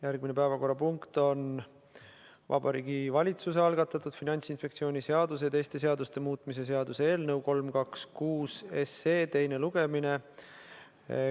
Järgmine päevakorrapunkt on Vabariigi Valitsuse algatatud Finantsinspektsiooni seaduse ja teiste seaduste muutmise seaduse eelnõu 326 teine lugemine.